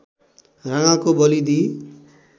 राँगाको बली दिई